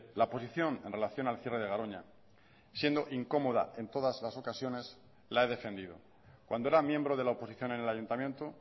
la posición en relación al cierre de garoña siendo incómoda en todas las ocasiones la he defendido cuando era miembro de la oposición en el ayuntamiento